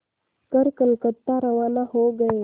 कर कलकत्ता रवाना हो गए